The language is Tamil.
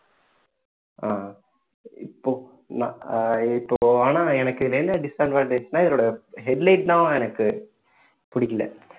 ஆஹ் இப்போ நான் ஆஹ் இப்போ ஆனா எனக்கு இதுல என்ன disadvantage னா என்னோட headlight தான் எனக்கு பிடிக்கல